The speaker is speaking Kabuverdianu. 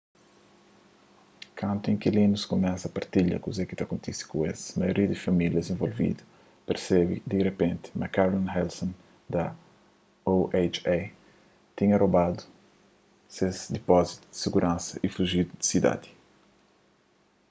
kantu inkilinus kumesa partilha kuze ki kontise ku es maioria di famílias involvidu persebe di ripenti ma carolyn wilson da oha tinha robadu ses dipózitu di siguransa y fujidu di sidadi